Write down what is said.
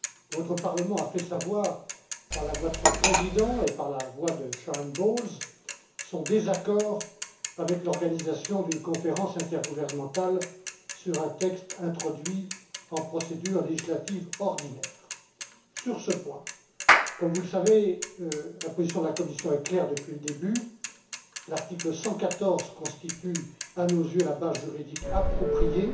Votre Parlement a fait savoir, par la voix de son Président et celle de Sharon Bowles, son désaccord avec l'organisation d'une conférence intergouvernementale sur un texte introduit en procédure législative ordinaire. Sur ce point, comme vous le savez, la position de la Commission est claire depuis le début. L'article 114 constitue, à nos yeux, la base juridique appropriée